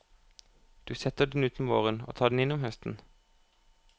Du setter den ut om våren og tar den inn om høsten.